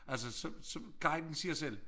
Altså så så guiden siger selv